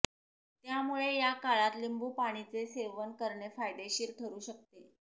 त्यामुळे या काळात लिंबू पाणीचे सेवन करणे फायदेशीर ठरू शकते